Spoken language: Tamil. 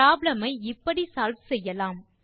ப்ராப்ளம் ஐ இப்படி சால்வ் செய்யலாம்